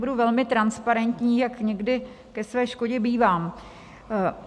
Budu velmi transparentní, jak někdy ke své škodě bývám.